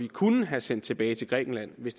kunne have sendt tilbage til grækenland hvis